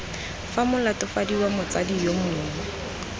fa molatofadiwa motsadi yo mongwe